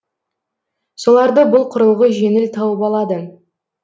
соларды бұл құрылғы жеңіл тауып алады